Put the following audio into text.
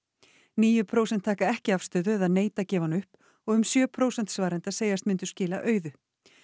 níu prósent taka ekki afstöðu eða neita að gefa hana upp og um sjö prósent svarenda segjast myndu skila auðu